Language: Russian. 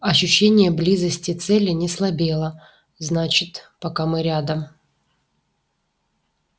ощущение близости цели не слабело значит пока мы рядом